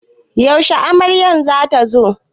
Yashe amaryar za ta zo?